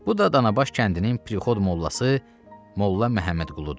Bu da Danabaş kəndinin prixod mollası Molla Məmmədquludur.